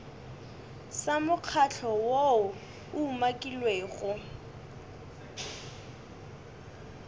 sa mokgatlo woo o umakilwego